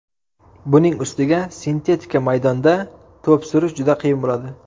Buning ustiga sintetika maydonda to‘p surish juda qiyin bo‘ladi.